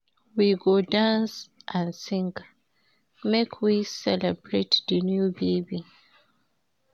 We go dance and sing, make we celebrate di new baby.